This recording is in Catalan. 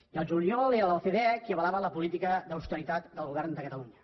i al juliol era l’ocde qui avalava la política d’austeritat del govern de catalunya